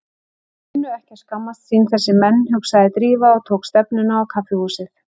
Þeir kunnu ekki að skammast sín, þessir menn, hugsaði Drífa og tók stefnuna á kaffihúsið.